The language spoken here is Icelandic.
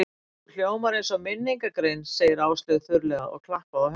Þú hljómar eins og minningargrein sagði Áslaug þurrlega og klappaði á höndina á mér.